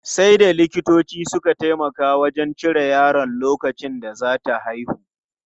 Sai da likitoci suka taimaka wajen cire yaron lokacin da za ta haihu.